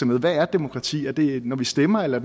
med hvad er demokrati er det når vi stemmer eller